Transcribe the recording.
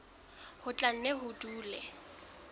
ho tla nne ho dule